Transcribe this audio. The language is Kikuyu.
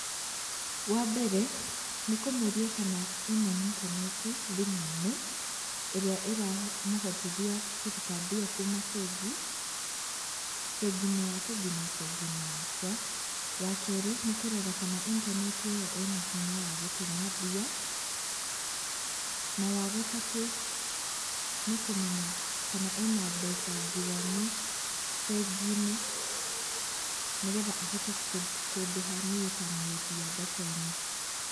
Wambere, nĩkũmũria kana ena intaneti thimũ-inĩ, ĩrĩa ĩramũhotithia kũruta mbia kuma bengi, bengi-inĩ yake kinya bengi-inĩ yakwa. Wakerĩ, nĩ kũrora kana intaneti ĩyo ĩna hinya wa gũtũma mbia. Na wagatatũ, nĩ kũmenya kana ena mbeca njiganu, bengi-inĩ, nĩgetha ahote kũndĩha niĩ ta mwendia thoko-inĩ.